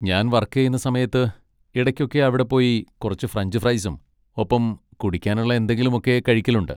ഞാൻ വർക്ക് ചെയ്യുന്ന സമയത്ത് ഇടയ്ക്കൊക്കെ അവിടെ പോയി കുറച്ച് ഫ്രഞ്ച് ഫ്രെയ്സും ഒപ്പം കുടിക്കാനുള്ള എന്തെങ്കിലുമൊക്കെ കഴിക്കലുണ്ട്.